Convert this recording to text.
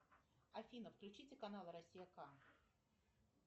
афина включите канал россия ка